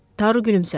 Taru gülümsədi.